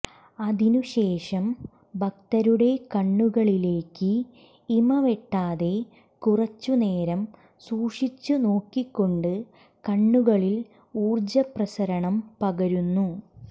അതിനുശേഷം ഭക്തരുടെ കണ്ണുകളിലേക്ക് ഇമവെട്ടാതെ കുറച്ചുനേരം സൂക്ഷിച്ചു നോക്കിക്കൊണ്ട് കണ്ണുകള്വഴി ഊര്ജപ്രസരണം പകരുന്നു